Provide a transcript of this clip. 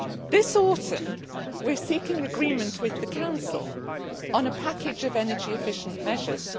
This autumn we are seeking agreement with the Council on a package of energy efficient measures.